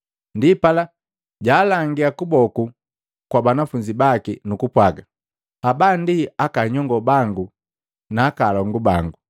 Ndipala jaalangia kuboku kwa banafunzi baki nukupwaaga, “Haba ndi aka nyongo bangu na alongu bangu!